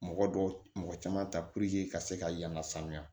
Mɔgɔ dɔw mɔgɔ caman ta puruke ka se ka yan ka sanuya